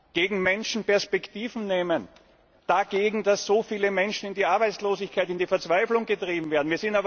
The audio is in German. Dagegen, Menschen Perspektiven zu nehmen, dagegen, dass so viele Menschen in die Arbeitslosigkeit, in die Verzweiflung getrieben werden.